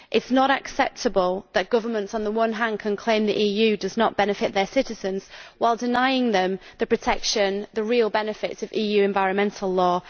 It is not acceptable that governments on the one hand complain that the EU does not benefit their citizens, while denying them the protection and the real benefits of EU environmental law.